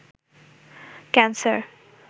cancer